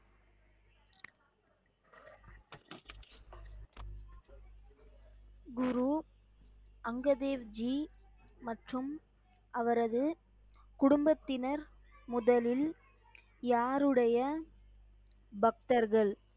குரு அங்கதேவ் G மற்றும் அவரது குடும்பத்தினர் முதலில் யாருடைய பக்தர்கள்?